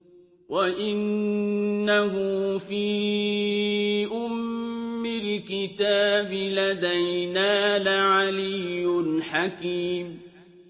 وَإِنَّهُ فِي أُمِّ الْكِتَابِ لَدَيْنَا لَعَلِيٌّ حَكِيمٌ